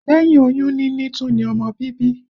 Lẹ́yìn oyún níní tún ní ọmọ bíbí